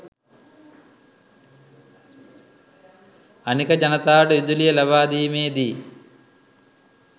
අනික ජනතාවට විදුලිය ලබාදීමේදී